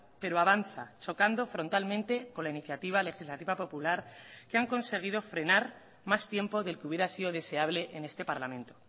pero avanza chocando frontalmente con la iniciativa legislativa popular que han conseguido frenar más tiempo del que hubiera sido deseable en este parlamento